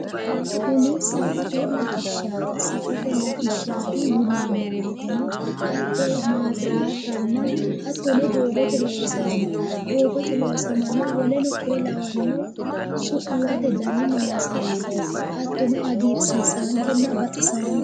kuni safote latishshaati safote latishshaati yineemmowoyiteno hatto caabbichu hattono doogote loosamano woleno konne lawannore su'muwate dani noonsareeti hattono hagiirsiisankenna baxisaanke.